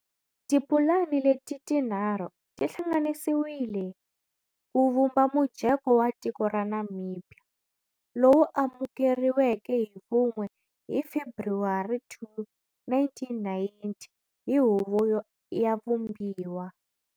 Tipulani leti tinharhu ti hlanganisiwile ku vumba mujeko wa tiko ra Namibia, lowu amukeriweke hi vun'we hi February 2, 1990 hi Huvo ya Vumbiwa.